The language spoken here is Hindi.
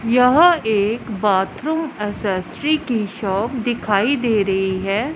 यहां एक बाथरूम एसेसरी की शॉप दिखाई दे रही है।